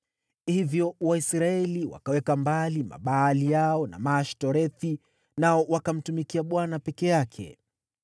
Hivyo Waisraeli wakaweka mbali Mabaali yao na Maashtorethi, nao wakamtumikia Bwana peke yake.